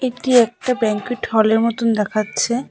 এটি একটা ব্যাংকুয়েট হলের মতন দেখাচ্ছে।